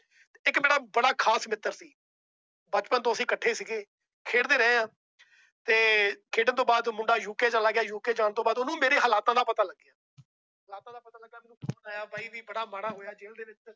ਇੱਕ ਮੇਰਾ ਬੜਾ ਖਾਸ ਮਿੱਤਰ ਬਚਪਨ ਤੋਂ ਅਸੀਂ ਇਕੱਠੇ ਹੀ ਸੀ। ਖੇਡਦੇ ਰਹੇ ਆ ਤੇ ਖੇਡਣ ਤੋਂ ਬਾਅਦ ਓ ਮੁੰਡਾ UK ਚਲਾ ਗਿਆ। UK ਜਾਣ ਤੋਂ ਬਾਅਦ ਓਹਨੂੰ ਮੇਰੇ ਹਾਲਾਤ ਦਾ ਪਤਾ ਲੱਗਿਆ।